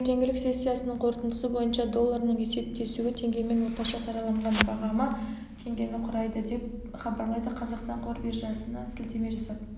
таңертеңгілік сессиясының қорытындысы бойынша долларының есептесуі теңгемен орташа сараланған бағамы теңгені құрайды деп хабарлайды қазақстан қор биржасына сілтеме жасап